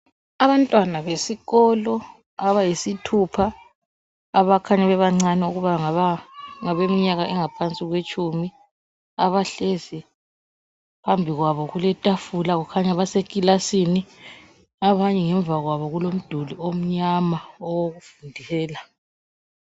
Abantwana besikolo abayisithupha, abakhanya bebancane ukuba bangaba ngabemnyaka engaphansi kwetshumi, abahlezi phambi kwabo kuletafula kukhanya basekilasini. Abanye ngemva kwabo kulomduli omnyama owokufundela.